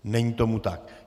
Není tomu tak.